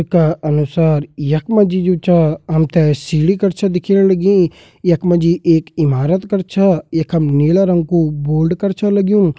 इ का अनुसार यखमा जी जु छा हमथे सीडी कर छ दिखेण लगीं यखमा जी एक ईमारत कर छा यखम नीला रंग कु बोल्ड कर छ लग्युं।